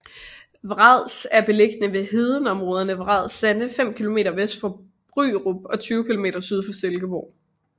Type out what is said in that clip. Vrads er beliggende ved hedeområderne Vrads Sande fem kilometer vest for Bryrup og 20 kilometer syd for Silkeborg